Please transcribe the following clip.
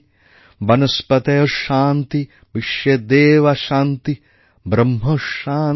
বনস্পতয়ঃ শান্তি বিশ্বেদেবাঃ শান্তি ব্রহ্ম শান্তিঃ